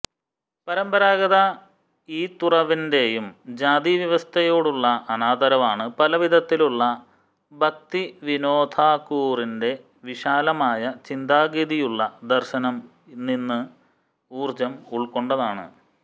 പരമ്പരാഗത ഈ തുറവിൻറെയും ജാതി വ്യവസ്ഥയോടുള്ള അനാദരവാണ് പലവിധത്തിലുള്ള ഭക്തിവിനൊദ ഥാകുറിന്റെ വിശാലമായ ചിന്താഗതിയുള്ള ദർശനം നിന്ന് ഊർജ്ജം ഉൾക്കൊണ്ടതാണ്